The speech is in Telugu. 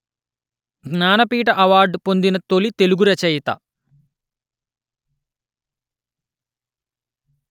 జ్ఞానపీఠ అవార్డు పొందిన తొలి తెలుగు రచయిత